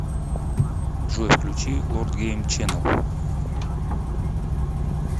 джой включи лорд гейм ченел